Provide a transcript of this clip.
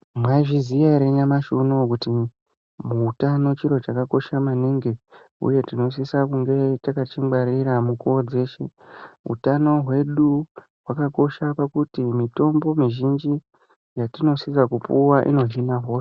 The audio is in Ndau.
Mwaizviziya ere kuti nyamashi unou kuti muutano chiro chakakosha maningi uye tinosisa kunge takachingwarira mukuwo dzeshe ,utano hwedu hwakakosha pakuti mitombo mizhinji yatinosisa kupuwa inohina hosha.